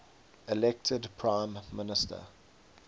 elected prime minister